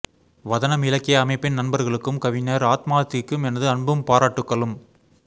வதனம் இலக்கிய அமைப்பின் நண்பர்களுக்கும் கவிஞர் ஆத்மார்த்திக்கும் எனது அன்பும் பாராட்டுகளும்